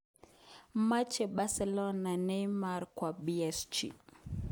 Moche Bercelona Neymar kwo PSG